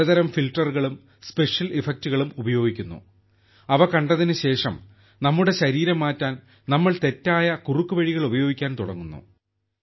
പലതരം ഫിൽട്ടറുകളും സ്പെഷ്യൽ ഇഫക്റ്റുകളും ഉപയോഗിക്കുന്നു അവ കണ്ടതിനുശേഷം നമ്മുടെ ശരീരം മാറ്റാൻ നമ്മൾ തെറ്റായ കുറുക്കുവഴികൾ ഉപയോഗിക്കാൻ തുടങ്ങുന്നു